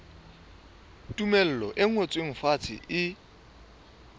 tumello e ngotsweng fatshe e